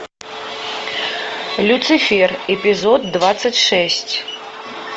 люцифер эпизод двадцать шесть